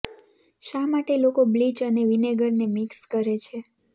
શા માટે લોકો બ્લીચ અને વિનેગારને મિક્સ કરે છે